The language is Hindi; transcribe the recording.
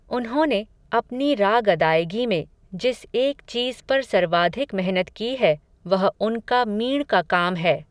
उन्होंने, अपनी राग अदायगी में, जिस एक चीज़ पर सर्वाधिक मेहनत की है, वह उनका मींड़ का काम है